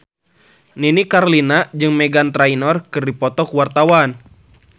Nini Carlina jeung Meghan Trainor keur dipoto ku wartawan